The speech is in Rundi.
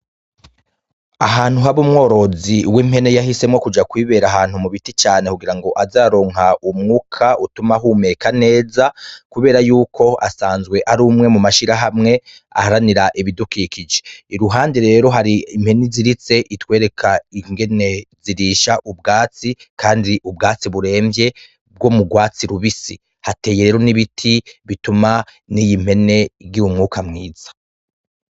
Ahantu haba umworozi w'impene yahisemwo kuja kwibera ahantu mu biti cane kugira ngo aze araronka umwuka utuma ahumeka neza kubera yuko asanzwe ari umwe mu mashirahamwe aharanira ibidukikije, iruhande rero hari impene iziritse itwereka ingene zirisha ubwatsi kandi ubwatsi buremvye bwo mu rwatsi rubisi , hateyemo n'ibiti bituma n'iyi mpene igira umwuka mwiza.